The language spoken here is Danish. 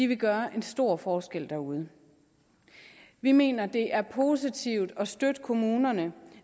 vil gøre en stor forskel derude vi mener det er positivt at støtte kommunerne